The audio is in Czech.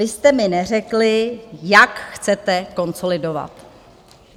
Vy jste mi neřekli, jak chcete konsolidovat?